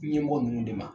Ɲɛmɔgɔ ninnu de ma